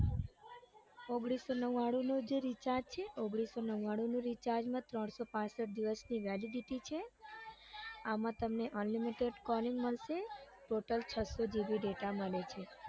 ઓગણીસો નવ્વાણું ને જે recharge છે ઓગણીસો નવ્વાણું ના recharge માં ત્રણસો પાંસઠ દિવસની validity છે આમ તમને unlimited મળશે total છસો gb data મળે છે.